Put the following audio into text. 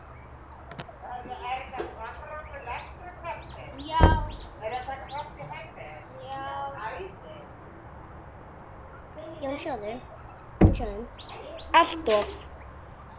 Það er fyrir mestu.